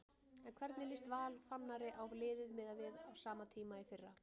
En hvernig líst Val Fannari á liðið miðað við á sama tíma í fyrra?